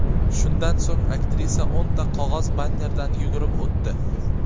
Shundan so‘ng aktrisa o‘nta qog‘oz bannerdan yugurib o‘tdi.